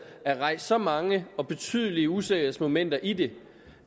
er rejst så mange og betydelige usikkerhedsmomenter i det